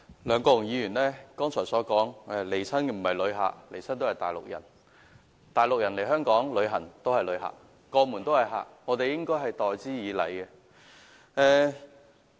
梁國雄議員剛才說來港的全部不是旅客，而是內地人，但內地人來港旅遊也是旅客，畢竟過門都是客，我們應該待之以禮。